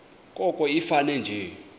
koko ifane nje